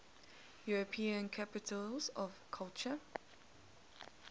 european capitals of culture